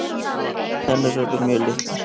Tennur eru mjög litlar.